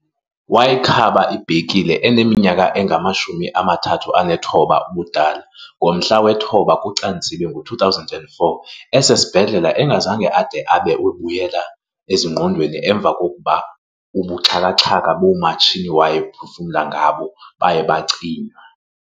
Wayikhaba ibhekile xa aneminyaka engama-39 ubudala ngomhla wesi-9 kuCanzibe ngo2004 esesesibhedlele engazange ade abe ubuyela ezingqondweni emva kokuba ubuxhaka-xhaka boomatshini awayephefumla ngabo baye bacinywa.